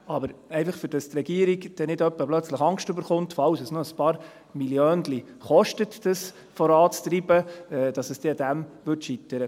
Aber die Regierung sollte nicht auf einmal befürchten müssen, dass das Ganze scheitert, weil es vielleicht noch ein paar Milliönchen kosten könnte.